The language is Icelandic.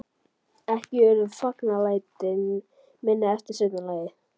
Ekki urðu fagnaðarlætin minni eftir seinna lagið.